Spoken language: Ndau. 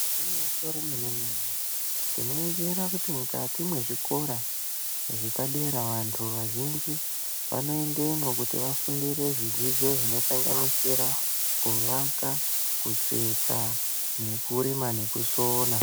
Gwinyiso remene mene tinoningira kuti mukati mwezvikora zvapadera antu azhinji anoendemwo kuti adzidzire zvidzidzo zvinosanganisira kuvaka, kutsetsa ,nekurima nekusona